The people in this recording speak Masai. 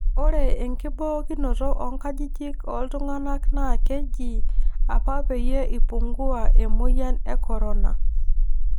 Ore enkibookinoto oonkajijik ooltung'anak naa ekiji apa peyie ipungua emoyian e Corona